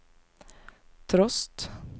trost